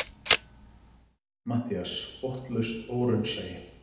MATTHÍAS: Botnlaust óraunsæi!